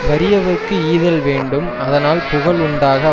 வறியவர்க்கு ஈதல் வேண்டும் அதனால் புகழ் உண்டாக